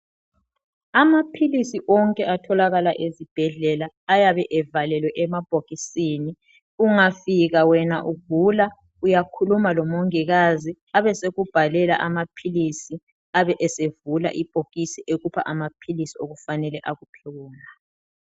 Amaphilisi onke atholakala ezibhedlela ayabe evalelwe emabhokisini ungafika wena ugula uyakhuluma lomongikazi abesekubhalela amaphilisi abe esevula ibhokisi ekupha amaphilisi okufanele akuphe wona.